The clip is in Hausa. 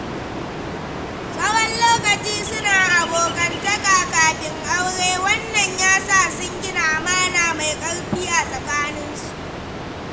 Tsawon lokaci suna abokantaka kafin aure, wan nan yasa sun gina amana mai ƙarfi a tsakaninsu.